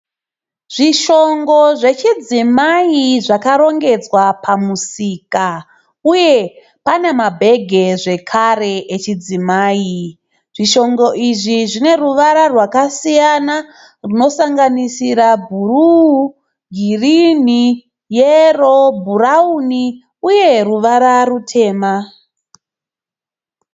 Zvishongo zvechidzimai zvakarongedzwa pamusika uye pane mabhegi zvekare echidzimai, zvishongo izvi zvine ruvara rwakasiyana rwunosanganisira bhuruu, girini, yero, bhurauni uye ruvara rutema.